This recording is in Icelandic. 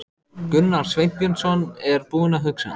Gunnar Sveinbjörnsson er búinn að hugsa.